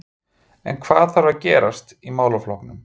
En hvað þarf að gerast í málaflokknum?